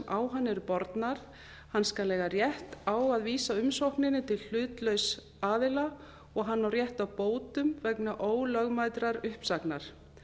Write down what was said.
á hann eru bornar hann skal eiga rétt á að vísa uppsögninni til hlutlauss aðila og hann á rétt á bótum vegna ólögmætrar uppsagnar